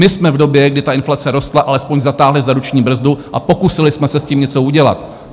My jsme v době, kdy inflace rostla, alespoň zatáhli za ruční brzdu a pokusili jsme se s tím něco udělat.